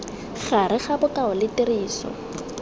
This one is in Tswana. gare ga bokao le tiriso